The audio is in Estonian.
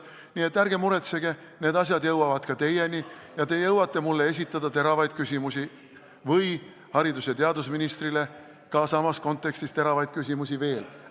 Nii et ärge muretsege, need asjad jõuavad ka teieni ja te jõuate mulle või haridus- ja teadusministrile esitada samas kontekstis teravaid küsimusi veel.